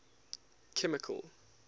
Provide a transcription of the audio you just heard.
chemical